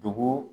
Dogo